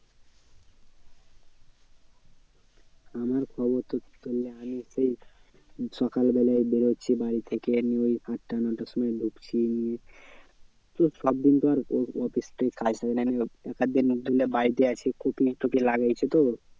আমার খবর তো ধরেনে আমি সেই সকাল বেলায় বেরোচ্ছি বাড়ি থেকে নিয়ে ওই আটটা নটার সময় ঢুকছি তো সব দিন তো আর office থেকে এক এক দিন ধরেনে বাড়িতে আছি লাগাইছি তো